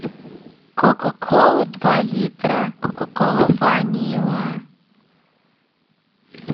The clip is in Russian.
кока кола два литра кока кола ванила